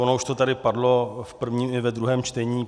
Ono už to tady padlo v prvním i ve druhém čtení.